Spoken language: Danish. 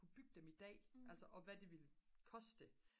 bygge dem i dag og hvad det ville koste